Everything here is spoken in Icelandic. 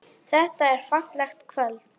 Þetta er fallegt kvöld.